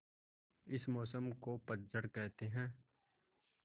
इस मौसम को पतझड़ कहते हैं